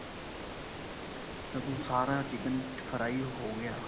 ਜਦੋਂ ਸਾਰਾ chicken fry ਹੋ ਗਿਆ